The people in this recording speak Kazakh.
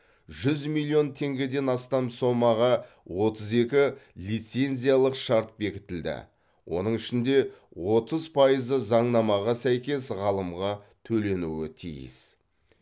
жүз миллион теңгеден астам сомаға отыз екі лицензиялық шарт бекітілді оның ішінде отыз пайызы заңнамаға сәйкес ғалымға төленуі тиіс